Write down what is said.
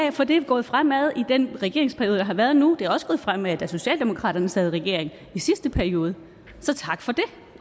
af for det er gået fremad i den regeringsperiode der har været nu det er også gået fremad da socialdemokratiet sad i regering i sidste periode så tak for det